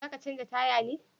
Za ka canja taya ne?